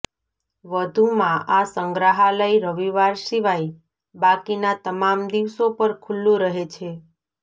વધુમાં આ સંગ્રહાલય રવિવાર સિવાય બાકીના તમામ દિવસો પર ખુલ્લું રહે છે